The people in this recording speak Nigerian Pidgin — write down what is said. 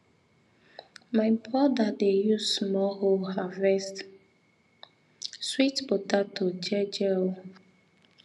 my brother dey use small hoe harvest sweet potato je je um